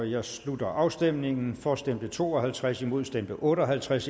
jeg slutter afstemningen for stemte to og halvtreds imod stemte otte og halvtreds